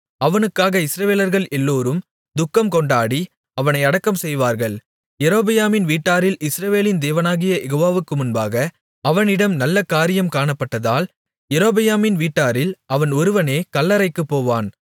அவனுக்காக இஸ்ரவேலர்கள் எல்லோரும் துக்கம் கொண்டாடி அவனை அடக்கம் செய்வார்கள் யெரொபெயாமின் வீட்டாரில் இஸ்ரவேலின் தேவனாகிய யெகோவாவுக்கு முன்பாக அவனிடம் நல்ல காரியம் காணப்பட்டதால் யெரொபெயாமின் வீட்டாரில் அவன் ஒருவனே கல்லறைக்குப்போவான்